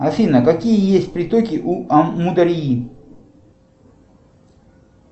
афина какие есть притоки у амударьи